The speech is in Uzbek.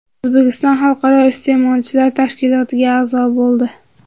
O‘zbekiston Xalqaro iste’molchilar tashkilotiga a’zo bo‘ldi.